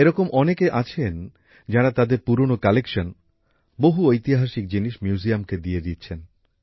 এরকম অনেকে আছেন যারা তাদের পুরনো সংগ্রহ বহু ঐতিহাসিক জিনিস জাদুঘরকে দিয়ে দিচ্ছেন